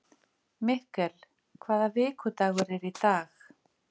Mikkel, hvaða vikudagur er í dag?